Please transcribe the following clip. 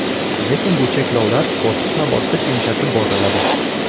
Lekin bu cheklovlar bosqichma-bosqich yumshatib boriladi.